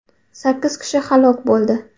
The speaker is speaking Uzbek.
Sakkiz kishi halok bo‘ldi .